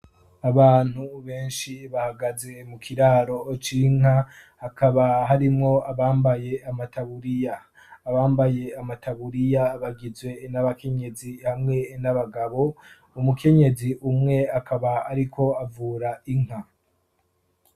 Abantu benshi bahagaze mu kiraro cinka akaba harimwo abambaye amataburiya abambaye amataburiya abagizwe n'abakenyezi hamwe n'abagabo umukenyezi umwe akaba ariko avura inka.